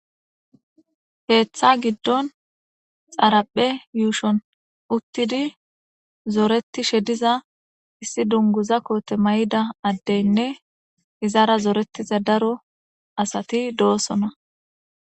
Heeththa giddon xaraphe yuushon uttidi zooreti shediza issi dunguza koote may7ida addeynne izara zooretiza daro asati doosona